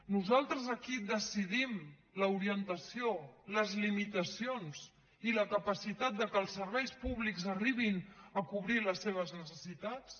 nosaltres aquí decidim l’orientació les limitacions i la capacitat que els serveis públics arribin a cobrir les seves necessitats